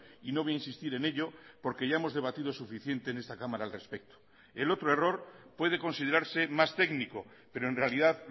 y no voy a insistir en ello porque ya hemos debatido suficiente en esta cámara al respecto el otro error puede considerarse más técnico pero en realidad